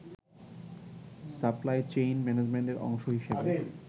supply chain ম্যানেজমেন্টের অংশ হিসেবে